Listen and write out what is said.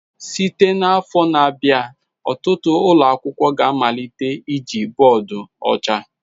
Site n'afọ na-abịa, ọtụtụ ụlọ akwụkwọ ga-amalite iji bọọdụ ọcha.